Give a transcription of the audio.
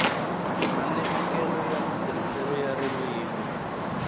malemukelo ya matirhiselo ya ririmi